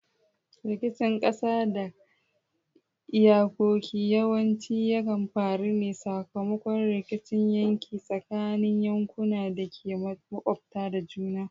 Rikicin kasa da kan iyakoki yawanci yakan faru ne sakamakon rikicin yanki tsakanin yankunan da ke makwabtaka da juna.